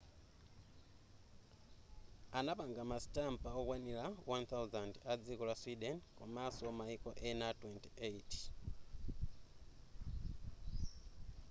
anapanga ma sitampa okwanira 1,000 a dziko la sweden komanso maiko ena 28